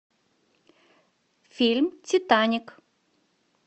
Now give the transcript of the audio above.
фильм титаник